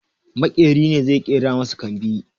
Maƙeri ne zai ƙera masa kambi